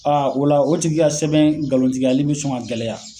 A o la o tigi ka sɛbɛn galon tigiyali bi sɔn ka gɛlɛya